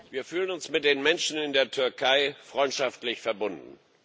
Wir fühlen uns mit den Menschen in der Türkei freundschaftlich verbunden.